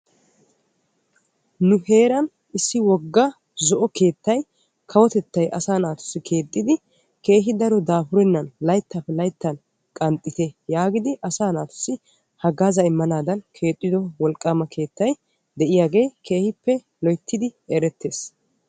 Nu heeran wogga zo'o kawotetta asaa naatussi keexxiddi dafurennan layttan layttan qanxxitte giidi immogge keehippe erettees.